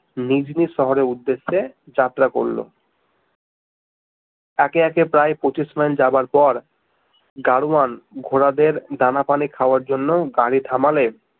নিজ নিজ শহরের উদ্দেশ্যে যাত্রা করলো একে একে প্রায় পঁচিশ মাইল যাবার পর গাড়োয়ান ঘোড়াদের দানা পানি খাওয়ার জন্য গাড়ি থামালে